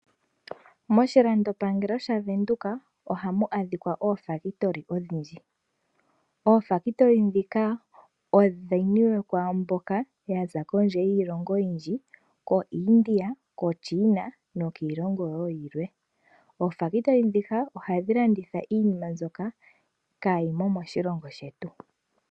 Moshilandopangelo shaVenduka ohamu adhika oofaabulika odhindji. Oofaabulika ndhika odhi niwe kwaamboka yaza kondje yiilongo oyindji koIndia, koChina nokiilongo wo yilwe. Oofaabulika ndhika ohadhi landitha iinima mbyoka kaayimo moshilongo shetu.